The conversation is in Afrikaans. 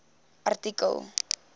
artikel